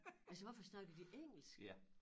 Altså hvorfor snakker de engelsk?